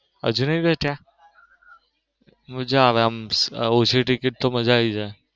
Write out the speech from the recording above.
હજુ નઈ બેઠીયા મજા આવે આવું મજા આવી જાય.